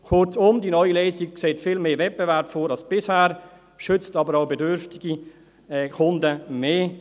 Kurzum, die neue Lösung sieht viel mehr Wettbewerb vor als bisher, schützt aber auch bedürftige Kunden mehr.